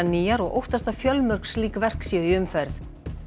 nýjar og óttast að fjölmörg slík verk séu í umferð